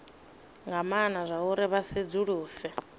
nga maana zwauri vha sedzuluse